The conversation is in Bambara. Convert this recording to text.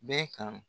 Bɛɛ kan